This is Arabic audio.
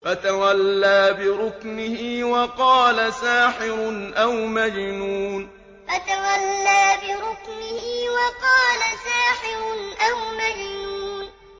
فَتَوَلَّىٰ بِرُكْنِهِ وَقَالَ سَاحِرٌ أَوْ مَجْنُونٌ فَتَوَلَّىٰ بِرُكْنِهِ وَقَالَ سَاحِرٌ أَوْ مَجْنُونٌ